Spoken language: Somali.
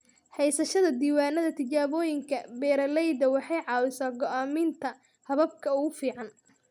Haysashada diiwaannada tijaabooyinka beeralayda waxay caawisaa go'aaminta hababka ugu fiican.